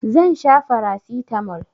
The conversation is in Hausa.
Zan sha farasitamol.